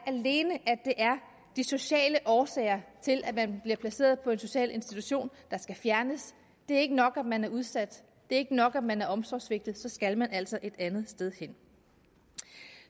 de sociale årsager til at man bliver placeret på en social institution der skal fjernes det er ikke nok at man er udsat det er ikke nok at man er omsorgssvigtet så skal man altså det andet sted hen